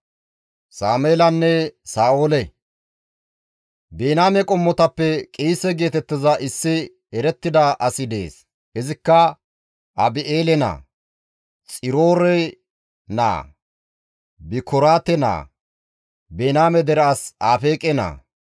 Biniyaame qommotappe Qiise geetettiza issi erettida asi dees; izikka Abi7eele naa, Xiroore naa, Bikoraate naa, Biniyaame dere as Afeeqe naa.